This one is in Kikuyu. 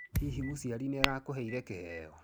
Hihi mũciari nĩ arakũreheire kĩheo?